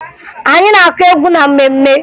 Anyị na-akụ egwu na mmemme